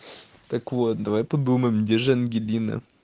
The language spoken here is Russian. так вот давай подумаем где же ангелина